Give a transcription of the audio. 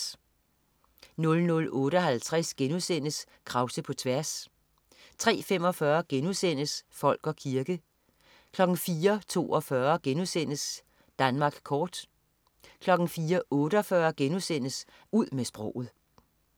00.58 Krause på tværs* 03.45 Folk og kirke* 04.42 Danmark kort* 04.48 Ud med sproget*